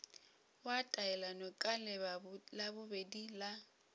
wa taelano ka labobedi la